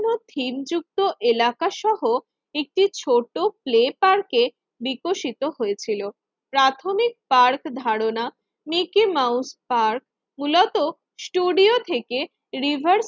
থিমযুক্ত এলাকাসহ একটি ছোট ফ্লেপার কে বিকশিত হয়েছিল। প্রাথমিক পার্ক ধারণা মিকি মাউস পার্ক মূলত ষ্টুডিও থেকে রিজার্ভ